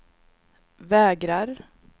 vägrar